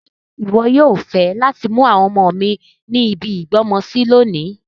Ṣe wọ yoo fẹ lati mu àwọn ọmọ mi ni ibi ìgbọ́mọsi lonìí